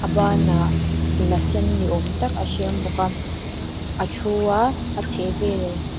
a ban ah la sen ni awm tak a hreng bawk a a thu a a chhehvel--